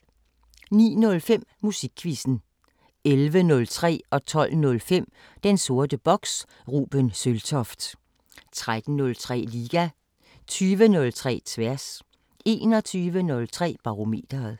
09:05: Musikquizzen 11:03: Den sorte boks: Ruben Søltoft 12:05: Den sorte boks: Ruben Søltoft 13:03: Liga 20:03: Tværs 21:03: Barometeret